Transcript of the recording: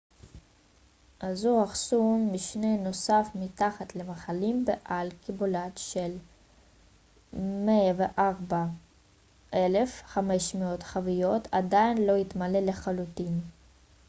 אזור אחסון משני נוסף מתחת למכלים בעל קיבולת של 104,500 חביות עדיין לא התמלא לחלוטין